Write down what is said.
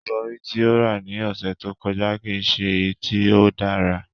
Ibori ti o ra ni ọsẹ to kọja kii ṣe eyi ti o dara.